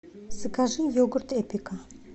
закажи йогурт эпика